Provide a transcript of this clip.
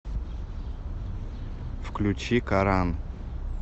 включи коран